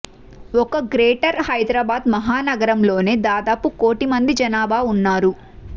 ఒక్క గ్రేటర్ హైదరాబాద్ మహానగరంలోనే దాదాపు కోటి మంది జనాభా ఉన్నారు